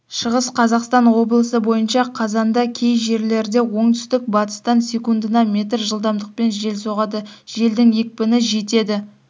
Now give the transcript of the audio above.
шығыс қазақстан облысы бойынша қазанда кей жерлерде оңтүстік-батыстан секундына метр жылдамдықпен жел соғады желдің екпіні жетеді